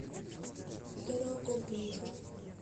дорогобужа